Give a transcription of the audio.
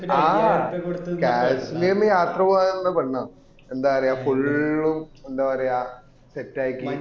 ആ കാശ്മീരിന് യാത്ര പോവാനില്ല പെണ്ണാണ് എന്താ പറയാ full ഉം എന്താ പറയാ set ആക്കി